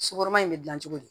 Sokɔrɔn in bɛ dilan cogo di